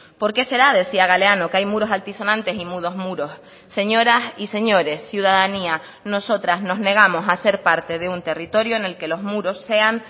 por qué será decía galeano que hay muros altisonantes y mudos muros señoras y señores ciudadanía nosotras nos negamos a hacer parte de un territorio en el que los muros sean